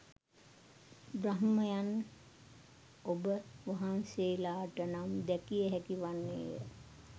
බ්‍රහ්මයන් ඔබ වහන්සේලාට නම් දැකිය හැකි වන්නේ ය